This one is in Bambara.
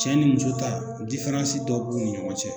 Cɛ ni muso ta dɔ b'u ni ɲɔgɔn cɛ.